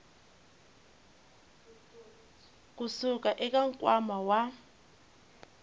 ku suka eka nkwama wa